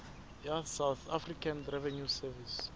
ya south african revenue service